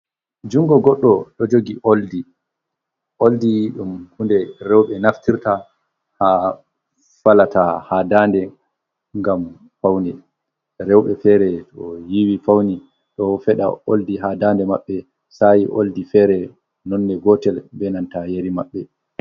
Junngo goɗɗo ɗo jogi oldi, oldi ɗum hunde rowɓe naftirta haa falata haa daande, ngam pawne. Rowɓe feere to yiiwi fawni, ɗo feɗa oldi haa daande maɓɓe, sahi oldi feere, nonne gootel be nanta yeri maɓɓe.